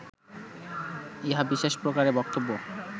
ইহা বিশেষ প্রকারে বক্তব্য